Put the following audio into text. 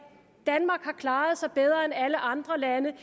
danmark har klaret sig bedre end alle andre lande